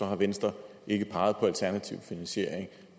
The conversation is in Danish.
har venstre ikke peget på alternativ finansiering